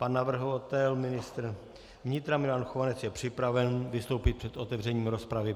Pan navrhovatel ministr vnitra Milan Chovanec je připraven vystoupit před otevřením rozpravy.